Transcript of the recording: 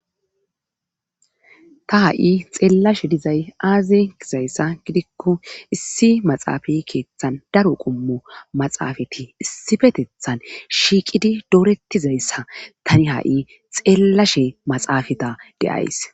Ta ha7i xeellashe dizay aaze gizayssa gidikko issi maxaafay keeththan daro qummo maxaafati issifetethan shiiqidi doorettizayssa tani ha7i xeellashe maxaafata deyays.